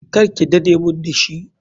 Karke dade mun dashi.